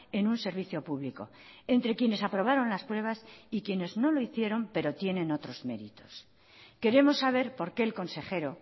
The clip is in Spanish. en un servicio público entre quienes aprobaron las pruebas y quienes no lo hicieron pero tienen otros méritos queremos saber por qué el consejero